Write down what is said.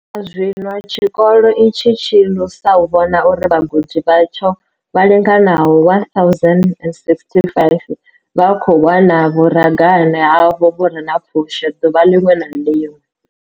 U swika zwino, tshikolo itshi tshi lusa u vhona uri vhagudi vhatsho vha linganaho 1 065 vha khou wana vhuragane havho vhu re na pfushi ḓuvha ḽiṅwe na ḽiṅwe.